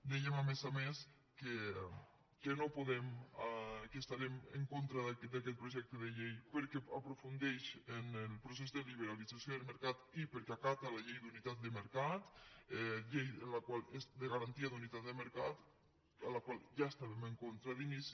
dèiem a més a més que no podem que estarem en contra d’aquest projecte de llei perquè aprofundeix en el procés de liberalització del mercat i perquè acata la llei de garantia de la unitat de mercat de la qual ja estàvem en contra d’inici